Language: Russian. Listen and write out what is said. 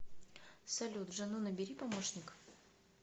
салют жену набери помощник